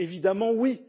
Évidemment oui!